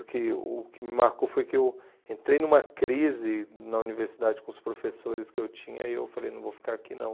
O que o que me marcou foi que eu entrei numa crise na universidade com os professores que eu tinha e eu falei, não vou ficar aqui não.